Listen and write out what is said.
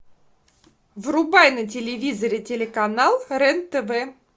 врубай на телевизоре телеканал рен тв